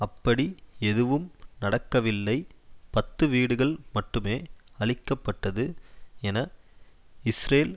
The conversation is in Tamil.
அப்படி எதுவும் நடக்கவில்லை பத்துவீடுகள் மட்டுமே அழிக்க பட்டது என இஸ்ரேல்